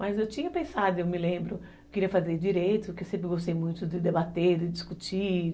Mas eu tinha pensado, eu me lembro, eu queria fazer Direito, porque eu sempre gostei muito de debater, de discutir.